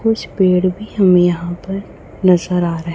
कुछ पेड़ भी हमें यहां पर नजर आ रहा है।